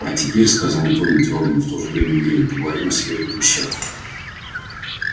а теперь сказал он тоном твёрдым и в то же время игривым поговорим о серьёзных вещах